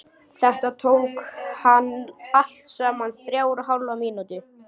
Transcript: Þetta tók hann allt saman þrjár og hálfa mínútu.